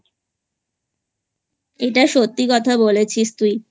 এটা সত্যি কথা বলেছিস তুই